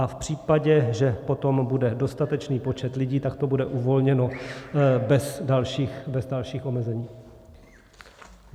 A v případě, že potom bude dostatečný počet lidí, tak to bude uvolněno bez dalších omezení.